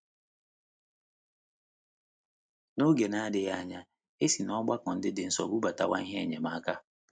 N’oge na - adịghị anya, e si n’ọgbakọ ndị dị nso bubatawa ihe enyemaka.